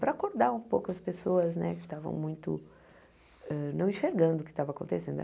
para acordar um pouco as pessoas né que estavam muito eh... não enxergando o que estava acontecendo.